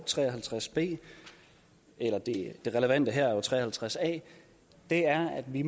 tre og halvtreds b det relevante her er jo l tre og halvtreds a er at vi